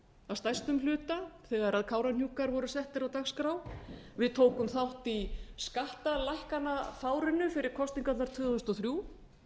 að stærstum hluta þegar kárahnjúkar voru settir á dagskrá við tókum þátt í skattalækkanafárinu fyrir kosningarnar tvö þúsund og þrjú